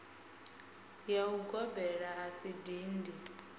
ya ugobela a si dindi